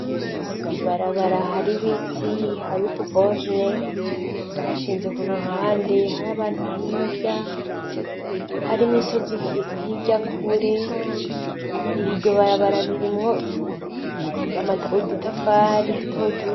Ibarabara hari ibiti, hari utu borone bashinze ku ruhande. Hari abantu hirya hariyo imisozi hirya kure iryo barabara ririmwo udutafari dutoduto.